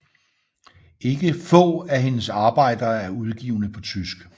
Ikke få af hendes arbejder er udgivne på tysk